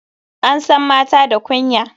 An san mata da kunya.